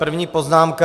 První poznámka.